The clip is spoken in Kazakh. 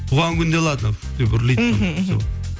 туған күнде ладно үф деп үрлейді оны все